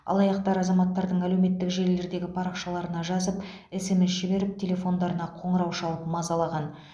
алаяқтар азаматтардың әлеуметтік желілердегі парақшаларына жазып смс жіберіп телефондарына қоңырау шалып мазалаған